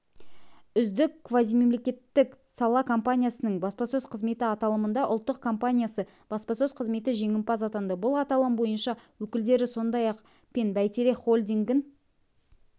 үздік квазимемлекеттік сала компаниясының баспасөз қызметі аталымында ұлттық компаниясы баспасөз қызметі жеңімпаз атанды бұл аталым бойынша өкілдері сондай-ақ пен бәйтерек холдингін